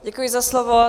Děkuji za slovo.